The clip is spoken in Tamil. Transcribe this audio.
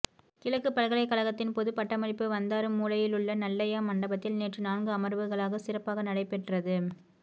கிழக்குப் பல்கலைக் கழகத்தின் பொது பட்டமளிப்பு வந்தாறுமூலையிலுள்ள நல்லையா மண்டபத்தில் நேற்று நான்கு அமர்வுகளாக சிறப்பாக நடைபெற்றது